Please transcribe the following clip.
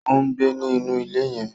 O ngbé ni inú ilé yen